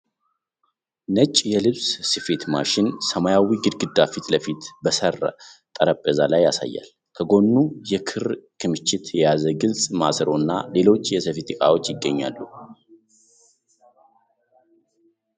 ነጭ የልብስ ስፌት ማሽን ሰማያዊ ግድግዳ ፊት ለፊት በስራ ጠረጴዛ ላይ ያሳያል። ከጎኑ የክር ክምችት የያዘ ግልፅ ማሰሮና ሌሎች የስፌት እቃዎች ይገኛሉ።